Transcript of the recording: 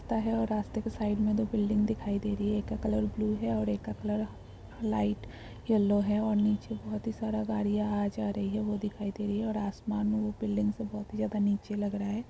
ता है और रास्ते के साइड में दो बिल्डिंग दिखाई दे रही है। एक का कलर ब्लू है और एक का कलर लाइट यल्लो है । और नीचे बहुत ही सारा गाड़ियां आ जा रही है वो दिखाई दे रही है। और आसमान में वो बिल्डिंग से बहुत ही ज्यादा नीचे लग रहा है।